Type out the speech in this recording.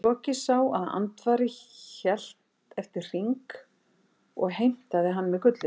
Loki sá að Andvari hélt eftir hring og heimtaði hann með gullinu.